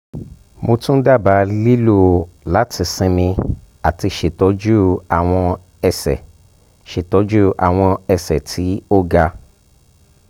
mo tun um daba lilo lati sinmi ati ṣetọju awọn ẹsẹ ṣetọju awọn ẹsẹ ti o ga